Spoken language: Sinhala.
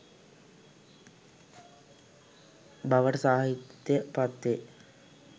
බවට සාහිත්‍යය පත් වේ.